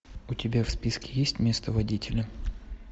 у тебя в списке есть место водителя